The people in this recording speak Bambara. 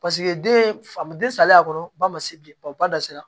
Paseke den fa den salen kɔnɔ ba ma se bi ba da sera